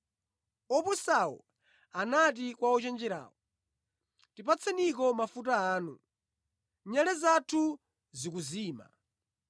Opusawo anati kwa ochenjerawo, ‘Tipatseniko mafuta anu; nyale zathu zikuzima. ’